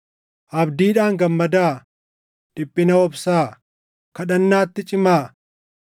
Abdiidhaan gammadaa; dhiphina obsaa; kadhannaatti cimaa.